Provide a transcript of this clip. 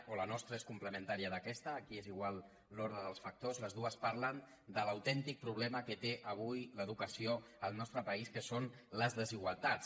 o la nostra és complementària d’aquesta aquí és igual l’ordre dels factors les dues parlen de l’autèntic pro·blema que té avui l’educació al nostre país que són les desigualtats